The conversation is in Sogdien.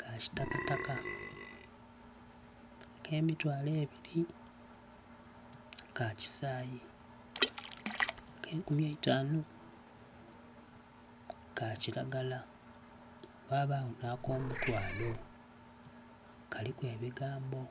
ka kitakataka, ak'emitwalo ebiri ka kisayi, ak'enkumi eitanu ka kiragala. Ghabagho nh'akomutwalo, kaliku ebigambo.